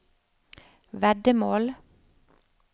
veddemål